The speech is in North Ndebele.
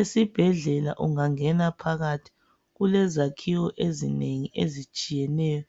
Esibhedlela ungangena phakathi kulezakhiwo ezinengi ezitshiyeneyo